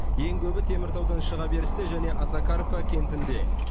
ең көбі теміртаудан шыға берісте және осакаровка кентінде